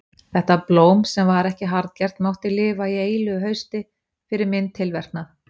Þetta blóm sem var ekki harðgert mátti lifa í eilífu hausti, fyrir minn tilverknað.